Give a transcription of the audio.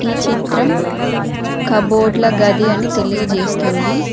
ఈ చిత్రం కబోర్డ్ల గది అని తెలియజేస్తుంది.